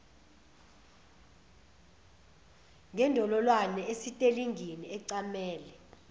ngendololwane esitelingini ecamele